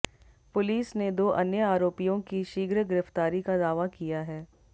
police ने दो अन्य आरोपियों की शीघ्र गिरफ्तारी का दावा किया है